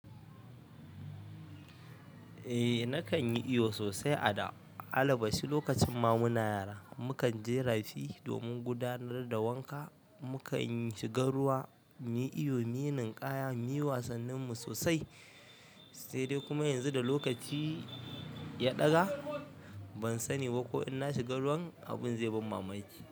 Eh nakan yi iyo sosai a da. Alla basu lokacin ma muna yara. Mukan je rafi domin gudanar da wanka. Mukan shiga ruwa, mu yi iyo, mi ninkaya, muyi wasannin mu sosai. Sai dai kuma yanzu da lokaci ya daga ban sani ba ko in na shiga ruwan abin zai ban mamaki.